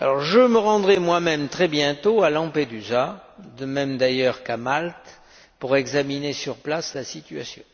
Je me rendrai moi même très bientôt à Lampedusa, de même d'ailleurs qu'à Malte, pour examiner sur place la situation.